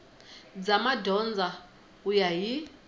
bya madyondza ku ya hi